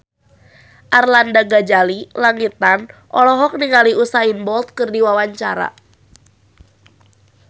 Arlanda Ghazali Langitan olohok ningali Usain Bolt keur diwawancara